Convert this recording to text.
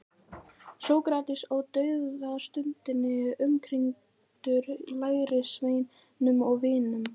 Sókrates á dauðastundinni umkringdur lærisveinum og vinum.